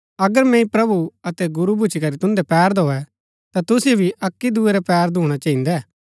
अगर मैंई प्रभु अतै गुरू भूच्ची करी तून्दै पैर धोऐ ता तुसिओ भी अक्की दूये रै पैर धूणा चहिन्‍दै